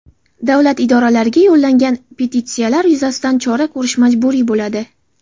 Davlat idoralariga yo‘llangan petitsiyalar yuzasidan chora ko‘rish majburiy bo‘ladi.